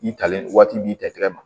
I talen waati b'i ta kɛnɛ ma